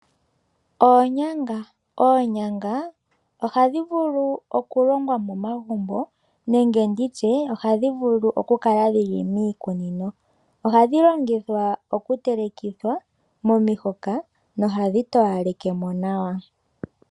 Oonyanga ohadhivulu okulongwa momagumbo nenge nditye ohadhivulu okukala dhili miikunino ,ohadhi longithwa okutelekithwa momihoka nohadhi towalekemo nawa .